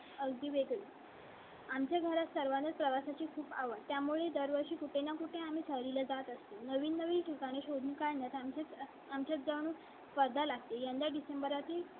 अगदी वेगळी. आमच्या घरात सर्वानाच प्रवासाची खूप आवडते. त्यामुळे दरवर्षी कुठे ना कुठे आम्ही ठेवले जात असते. नवीन नवीन ठिकाणे शोधून काढण्यात आमचे आमच्या जाऊन पदाला. यंदा डिसेंबरातील.